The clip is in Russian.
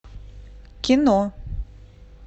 кино